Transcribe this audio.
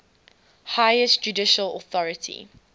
highest judicial authority